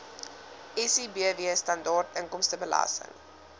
sibw standaard inkomstebelasting